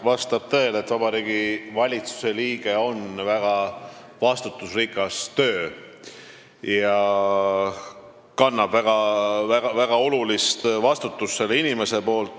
Vastab tõele, et Vabariigi Valitsuse liikme töö on väga vastutusrikas ja see inimene kannab väga olulist vastutust.